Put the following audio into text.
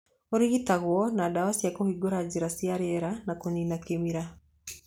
Ũrigitagwo na ndawa cia kũhingũra njĩra cia rĩera na kũnina kĩmira.